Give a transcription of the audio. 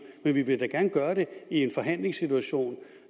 men vi vil gerne gøre det i en forhandlingssituation